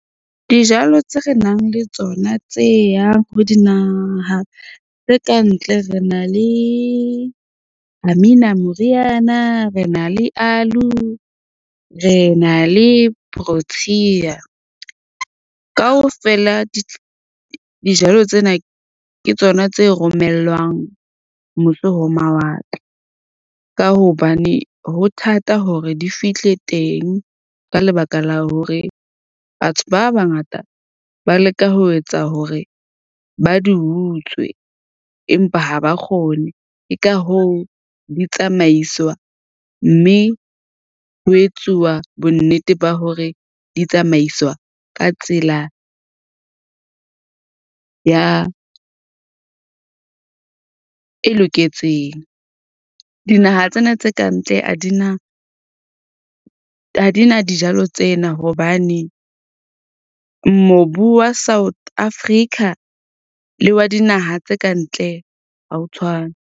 Dijalo tse re nang le tsona tse yang ho dinaha tse kantle, re na le Amina moriana, re na le aloe, re na le Protea. Kaofela dijalo tsena ke tsona tse romellwang mose ho mawatle, ka hobane ho thata hore di fihle teng, ka lebaka la hore batho ba bangata ba leka ho etsa hore ba di utswe. Empa ha ba kgone. Ke ka hoo di tsamaiswa mme ho etsuwa bonnete ba hore di tsamaiswa ka tsela ya e loketseng. Dinaha tsena tse ka ntle ha di na dijalo tsena hobane mobu wa South Africa le wa dinaha tse kantle ha o tshwane.